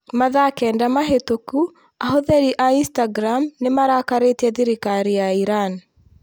Mathaa kenda mahĩtũku ahũthĩri a Instagram nĩ marakarĩtie thirikari ya Iran.